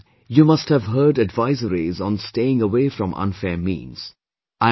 Time and again you must have heard advisories on staying away from unfair means